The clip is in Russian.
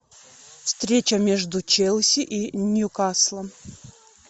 встреча между челси и ньюкаслом